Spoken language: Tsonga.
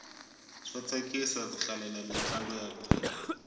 swa tsakisa ku hlalela mintlangu ya bolo